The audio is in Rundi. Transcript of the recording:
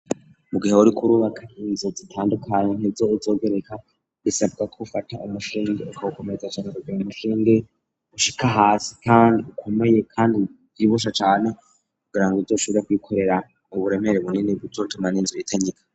Mu gihe uriko kurubaka izo zitandukane ntezo izogereka bisabwa ko ufata umushinge ukaukomeza cane rabre umushinge ushika hasi kandi ukomeye kandi ibusha cyane kugirango iryo shure kwikorera uburemere bunini butortima n'inzu itangika.